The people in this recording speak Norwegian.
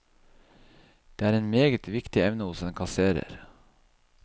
Det er en meget viktig evne hos en kasserer.